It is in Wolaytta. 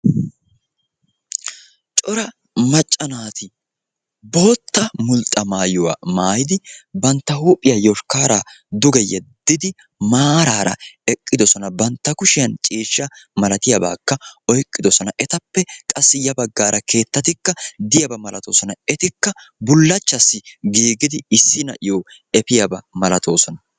cora macca naati bootta mulxxa maayuwa maayidi bantta huuphiya yoshkaara duge yeddidi maartaara eqqidosona.